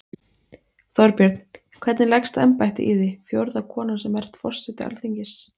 Þorbjörn: Hvernig leggst embættið í þig, fjórða konan sem ert forseti Alþingis?